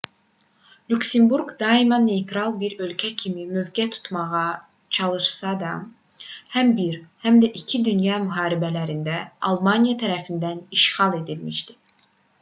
lüksemburq daima neytral bir ölkə kimi mövqe tutmağa çalışsa da həm i həm də ii dünya müharibələrində almaniya tərəfindən işğal edilmişdi